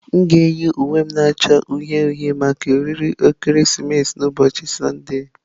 M ga-eyi uwe m na-acha uhie uhie maka oriri ekeresimesi n'ụbọchị Sọnde.